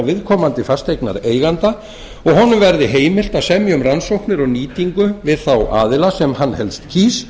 viðkomandi fasteignareiganda og honum verði heimilt að semja um rannsóknir og nýtingu við þá aðila sem hann helst kýs